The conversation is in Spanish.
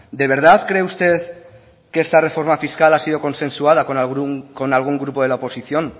de verdad cree usted que esta reforma fiscal ha sido consensuada con algún grupo de la oposición